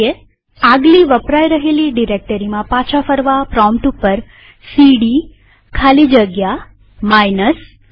આગલી વપરાય રહેલી ડિરેક્ટરીમાં પાછા ફરવા પ્રોમ્પ્ટ ઉપર સીડી ખાલી જગ્યા માઇનસ લખીએ